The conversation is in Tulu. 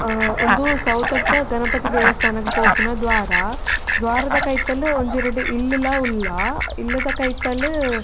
ಆ ಉಂದು ಸೌತಡ್ಕ ಗನಪತಿ ದೇವಸ್ಥಾನಗ್ ಪೋಪಿನ ದ್ವಾರ ದ್ವಾರದ ಕೈತಲ್ ಒಂಜಿ ರಡ್ಡ್ ಇಲ್ಲುಲ ಉಲ್ಲ ಇಲ್ಲ್ ದ ಕೈತಲ್.